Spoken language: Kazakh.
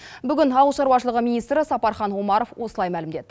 бүгін ауыл шаруашылығы министрі сапархан омаров осылай мәлімдеді